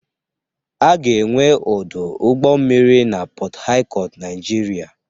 A ga-enwe ọdụ ụgbọ mmiri na Pọt Hacọt Naịjirịa.